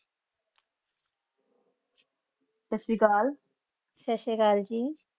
ਸਟਸਰੀਅਕਾਲ ਸਟਸਰੀਅਕਾਲ ਜੀ